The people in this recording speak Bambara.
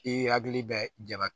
I hakili bɛ jaba